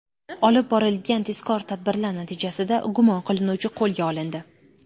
Olib borilgan tezkor tadbirlar natijasida gumon qilinuvchi qo‘lga olindi.